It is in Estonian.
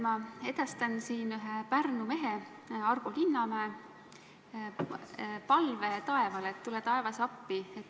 Ma edastan siin ühe Pärnu mehe Argo Linnamäe palve taevale: tule, taevas, appi!